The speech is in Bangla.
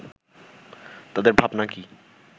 তাদের ভাবনা কি